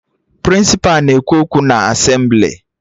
Prịnsịpa na-ekwu okwu na Asemblị